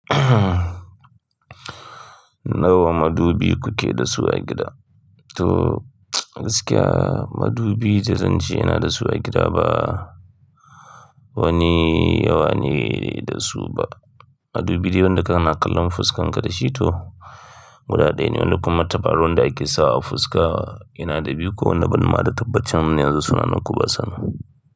Nawa madubi kuke da su a gida? To gaskiya madubi da zan ce ina da su a gida ba wani yawa ne da su ba. Madubi dai wanda kana kallon fuskar ka da shi to guda ɗaya ne. Wani kuma tabarau wanda ake sawa a fuska ina da biyu ko wanda ban ma da tabbacin ma yanzu suna nan ko basa nan.